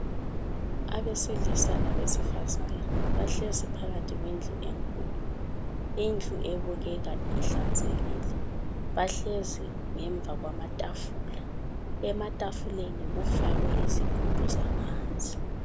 Abesilisa labesifazana bahlezi phakathi kwendlu enkulu. Indlu ebukeka ihlanzekile. Bahlezi ngemva kwamatafula. Ematafuleni kufakwe izigubhu zamanzi.